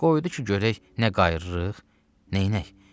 Qoydu ki, görək nə qayıdırıq, neynək?